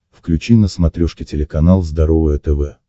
включи на смотрешке телеканал здоровое тв